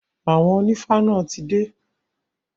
Àwọn onífá náà ti dé.